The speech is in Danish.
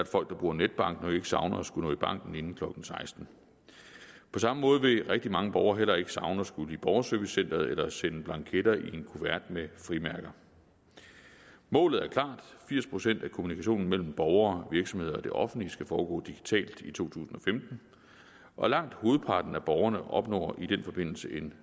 folk der bruger netbank som nok ikke savner at skulle nå i banken inden klokken sekstende på samme måde vil rigtig mange borgere heller ikke savne at skulle i borgerservicecenteret eller sende blanketter i en kuvert med frimærker målet er klart firs procent af kommunikationen mellem borgere virksomheder og det offentlige skal foregå digitalt i to tusind og femten og langt hovedparten af borgerne opnår i den forbindelse en